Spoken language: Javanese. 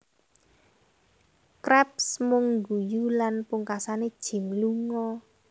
Krabs mung guyu lan pungkasane Jim lunga